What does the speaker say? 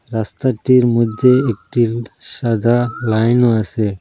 রাস্তাটির মইধ্যে একটি সাদা লাইনও আসে।